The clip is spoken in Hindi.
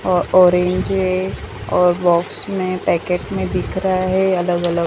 अ ऑरेंज है और बॉक्स में पैकेट में दिख रहा है अलग अलग--